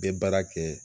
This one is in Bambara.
Bɛ baara kɛ